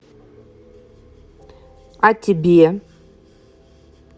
а тебе